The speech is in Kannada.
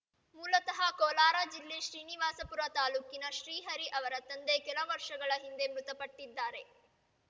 ಮೂಲತಃ ಕೋಲಾರ ಜಿಲ್ಲೆ ಶ್ರೀನಿವಾಸಪುರ ತಾಲೂಕಿನ ಶ್ರೀಹರಿ ಅವರ ತಂದೆ ಕೆಲ ವರ್ಷಗಳ ಹಿಂದೆ ಮೃತಪಟ್ಟಿದ್ದಾರೆ